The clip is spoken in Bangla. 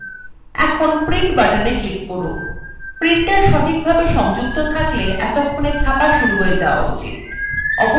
এখন print button click করুন printer সঠিকভাবে সংযুক্ত থাকলে এতক্ষণে ছাপা শুরু হয়ে যাওয়া উচিত